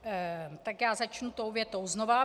Tak já začnu tou větou znova.